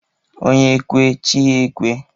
Onye kwe chi ya ekwe